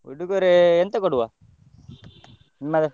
ಉಡುಗೊರೆ ಎಂತ ಕೊಡುವ, ನಿಮ್ಮದು?